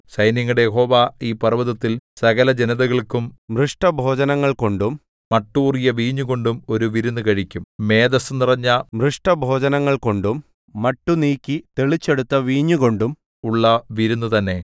സൈന്യങ്ങളുടെ യഹോവ ഈ പർവ്വതത്തിൽ സകലജനതകൾക്കും മൃഷ്ടഭോജനങ്ങൾ കൊണ്ടും മട്ടൂറിയ വീഞ്ഞുകൊണ്ടും ഒരു വിരുന്നു കഴിക്കും മേദസ്സു നിറഞ്ഞ മൃഷ്ടഭോജനങ്ങൾകൊണ്ടും മട്ടു നീക്കി തെളിച്ചെടുത്ത വീഞ്ഞുകൊണ്ടും ഉള്ള വിരുന്നു തന്നെ